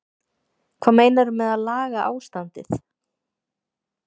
Hvað meinarðu með að laga ástandið?